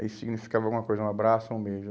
Isso significava alguma coisa, um abraço, um beijo.